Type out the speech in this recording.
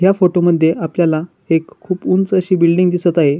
या फोटो आपल्याला एक खुप उंच अशी बिल्डींग दिसत आहे.